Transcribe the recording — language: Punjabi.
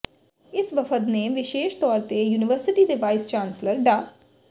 ਇਸ ਵਫ਼ਦ ਨੇ ਵਿਸ਼ੇਸ਼ ਤੌਰ ਤੇ ਯੂਨੀਵਰਸਿਟੀ ਦੇ ਵਾਈਸ ਚਾਂਸਲਰ ਡਾ